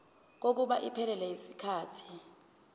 kokuba iphelele yisikhathi